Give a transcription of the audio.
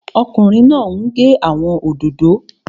Ọkùnrin náà n gé àwọn òdòdó